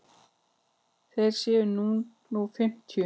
Þeir séu nú fimmtíu.